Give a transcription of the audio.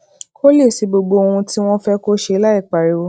kó lè ṣe gbogbo ohun tí wón fé kó ṣe láìpariwo